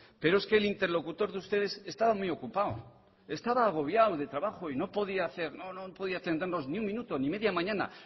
pero es que el interlocutor de ustedes estaba muy ocupado estaba agobiado de trabajo y no podía hacer no podía atendernos ni un minuto ni media mañana